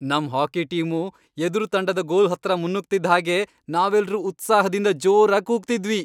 ನಮ್ hockey team ಎದ್ರು ತಂಡದ್ ಗೋಲ್ ಹತ್ರ ಮುನ್ನುಗ್ತಿದ್ದ್ ಹಾಗೆ ನಾವೆಲ್ರೂ ಉತ್ಸಾಹ್ದಿಂದ ಜೋರಾಗ್ ಕೂಗ್ತಿದ್ವಿ.